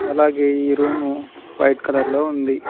అలాగే ఈ room white colour లో ఉంది.